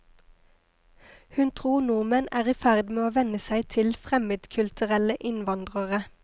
Hun tror nordmenn er i ferd med å venne seg til fremmedkulturelle innvandrere.